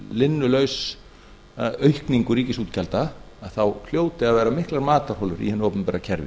linnulausa aukningu ríkisútgjalda þá hljóti að vera miklar matarholur í hinu opinbera kerfi